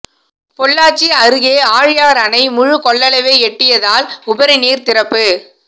பொள்ளாச்சி அருகே ஆழியார் அணை முழு கொள்ளளவை எட்டியதால் உபரிநீர் திறப்பு